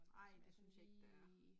Nej, det synes jeg ikke der er